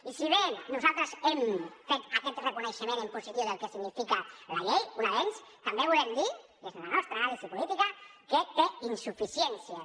i si bé nosaltres hem fet aquest reconeixement en positiu del que significa la llei un avenç també volem dir i és la nostra anàlisi política que té insuficiències